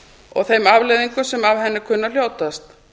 og þeim afleiðingum sem af henni kunna að hljótast